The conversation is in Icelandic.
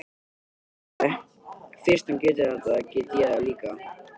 Ég hugsaði, fyrst hann getur þetta get ég það líka.